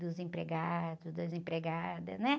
Dos empregados, das empregadas, né?